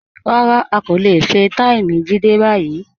Rárá, a kò le fẹ̀ẹ́taímì Jídé bayí.